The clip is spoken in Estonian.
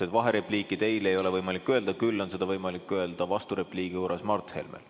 Sest vaherepliiki teil ei ole võimalik öelda, küll on seda võimalik öelda vasturepliigi korras Mart Helmel.